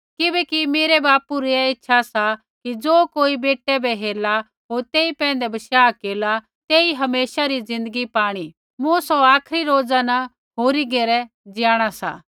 किबैकि मेरै बापू री ऐ इच्छा सा कि ज़े कोई बेटै बै हेरला होर तेई पैंधै बशाह केरला तेई हमेशा री ज़िन्दगी पाणी सा मूँ सौ आखरी रोजा न होरी घेरै जियाणा ज़िन्दा केरना सा